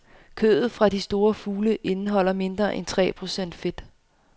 Kødet fra de store fugle indeholder mindre end tre procent fedt.